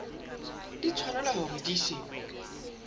di tshwanetse hore di se